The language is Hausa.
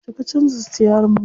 Yauce ka canza sitiyarin mota?